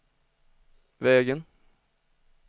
vägen